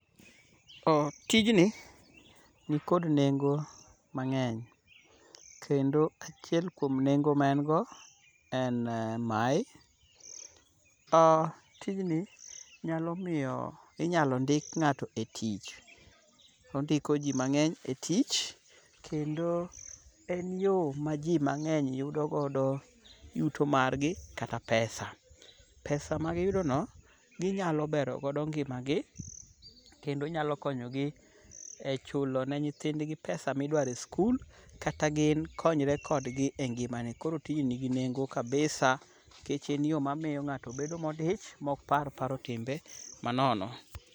Tijni nikod nengo mang'eny kendo achiel kuom nengo ma en go, en mae, tijni nyalo miyo ,inyalo ndik ng'ato e tich. Ondiko ji mang'eny e tich, kendo en yo ma ji mang'eny yudo godo yuto margi kata pesa . Pesa magiyudono ,ginyalo bero godo ngimagi kendo nyalo konyo gi e chulo ne nyithindgi pesa midwaro e skul, kata gin konyre kodgi e ngimane. Koro tijni nigi nengo kabisa nikech en yo mamiyo ng'ato bedo modich mok par timo timbe manono.